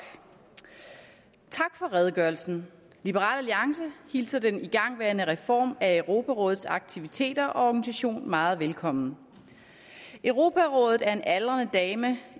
tak for redegørelsen liberal alliance hilser den igangværende reform af europarådets aktiviteter og organisation meget velkommen europarådet er en aldrende dame